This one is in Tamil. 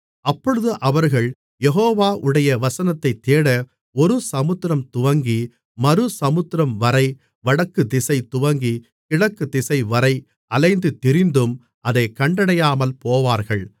அப்பொழுது அவர்கள் யெகோவாவுடைய வசனத்தைத் தேட ஒரு சமுத்திரம் துவங்கி மறு சமுத்திரம்வரை வடக்குதிசை துவங்கிக் கிழக்குத்திசைவரை அலைந்து திரிந்தும் அதைக் கண்டடையாமல்போவார்கள்